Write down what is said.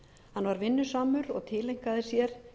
hann var vinnusamur og tileinkaði sér